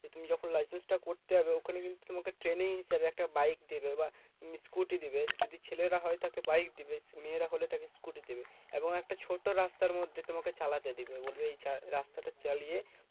তুমি যখন licence টা করতে যাবে ওখানে কিন্তু তোমাকে training নিতে হবে। একটা বাইক দেবে বা scooter দেবে। যদি ছেলেরা হয় তাহলে বাইক দিবে মেয়েরা হলে তাকে scooter দেবে এবং একটা ছোট রাস্তার মধ্যে তোমাকে চালাতে দেবে। বলবে এই চা রাস্তাটা চালিয়ে